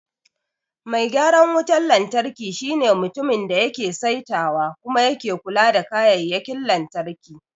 Mai gyaran wutar lantarki shine mutumin da yake saitawa kuma yake kula da kayayyakin lantarki.